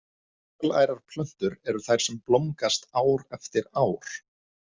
Fjölærar plöntur eru þær sem blómgast ár eftir ár.